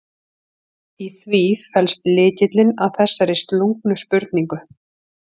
Í því felst lykillinn að þessari slungnu spurningu.